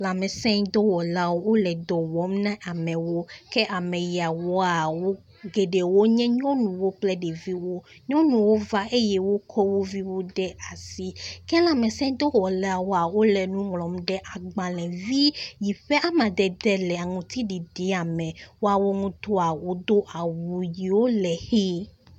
Lãmesẽɖɔwɔlawo, wole dɔ wɔm na amewo ke ame yawoa, geɖewo nye nyɔnuwo kple ɖeviwo. Nyɔnuwo va eye wokɔ wo viwo ɖe asi ke lãmesẽ dɔwɔlawoa, wole nu ŋlɔm ɖe agbalẽ vi yi ƒe amadede le aŋuti ɖiɖia me ya wo ŋutɔa wodo awu yi ke le ʋi.